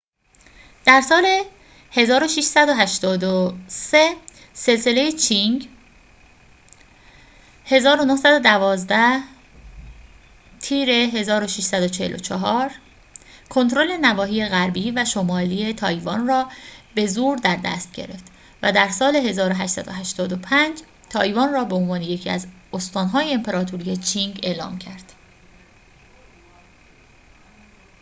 در سال 1683، سلسله چینگ 1644-1912 کنترل نواحی غربی و شمالی تایوان را به زور در دست گرفت و در سال 1885 تایوان را به‌عنوان یکی از استان‌های امپراطوری چینگ اعلام کرد